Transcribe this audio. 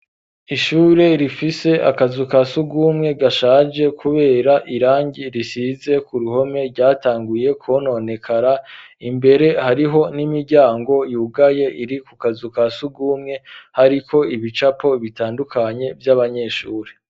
Ishure rifise akazu ka sugumwe gashaje kubera irangi risize ku ruhome ryatanguye kwononekara imbere hariho n'imiryango yugaye iri ku kazu kasugumwe hariko ibicapo bitandukanye vy'abanyeshure.